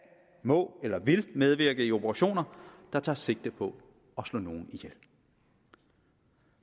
må eller vil medvirke i operationer der tager sigte på at slå nogen ihjel